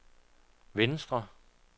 venstre